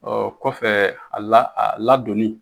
Ɔ kɔfɛ a la a ladonni